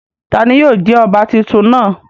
Tani yóò jẹ ọba titun náa?